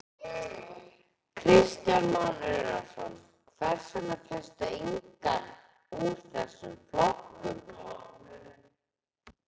Kristján Már Unnarsson: Hvers vegna fékkstu engan úr þessum flokkum?